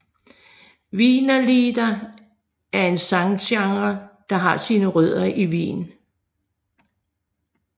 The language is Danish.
Wienerlieder er en sanggenre der har sine rødder i Wien